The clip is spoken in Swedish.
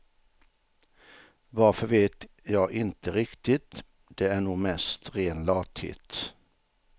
Varför vet jag inte riktigt, det är nog mest ren lathet.